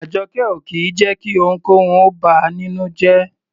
Àjọkẹ́ ò kì í jẹ́ kí ohunkóhun ó bà á nínú jẹ́.